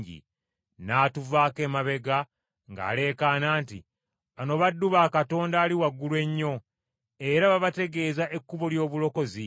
N’atuvaako emabega ng’aleekaana nti, “Bano baddu ba Katonda Ali Waggulu Ennyo, era babategeeza ekkubo ly’obulokozi.”